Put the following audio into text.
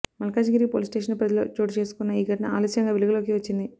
Malkajgiri police station పరిధిలో చోటు చేసుకున్న ఈ ఘటన ఆలస్యంగా వెలుగులోకి వచ్చింది